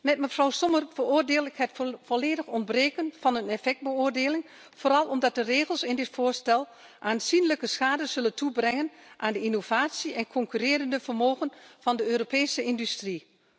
Met mevrouw Sommer veroordeel ik het volledig ontbreken van een effectbeoordeling, vooral omdat de regels in dit voorstel aanzienlijke schade zullen toebrengen aan de innovatie en het concurrentievermogen van de Europese industrie.